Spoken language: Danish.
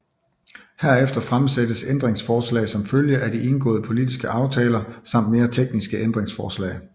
Herefter fremsættes ændringsforslag som følge af de indgåede politiske aftaler samt mere tekniske ændringsforslag